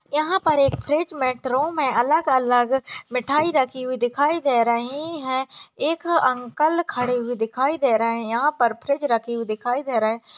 यहाँ पर एक फ्रिज में ट्रे में अलग-अलग मिठाई रखी हुई दिखाई दे रही है एक अंकल खड़े हुए दिखाई दे रहे हैं यहाँ पर फ्रिज रखी हुई दिखाई दे रहे हैं।